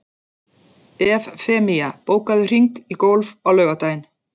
Evfemía, bókaðu hring í golf á laugardaginn.